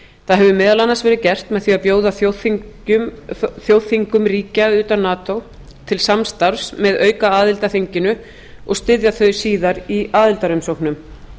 það hefur meðal annars verið gert með því að bjóða þjóðþingum ríkja utan nato til samstarfs með aukaaðild að þinginu og styðja þau síðar í aðildarumsóknum þá